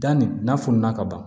Danni na fununa ka ban